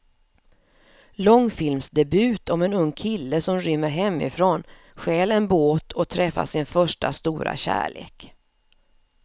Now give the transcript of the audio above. Långfilmsdebut om en ung kille som rymmer hemifrån, stjäl en båt och träffar sin första stora kärlek.